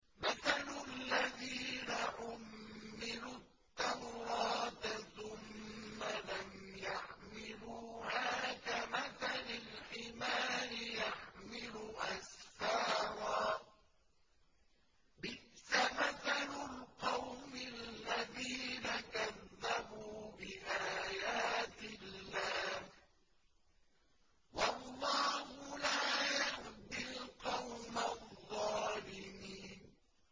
مَثَلُ الَّذِينَ حُمِّلُوا التَّوْرَاةَ ثُمَّ لَمْ يَحْمِلُوهَا كَمَثَلِ الْحِمَارِ يَحْمِلُ أَسْفَارًا ۚ بِئْسَ مَثَلُ الْقَوْمِ الَّذِينَ كَذَّبُوا بِآيَاتِ اللَّهِ ۚ وَاللَّهُ لَا يَهْدِي الْقَوْمَ الظَّالِمِينَ